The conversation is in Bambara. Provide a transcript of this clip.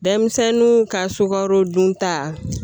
Denmisɛnninw ka sukaro dun ta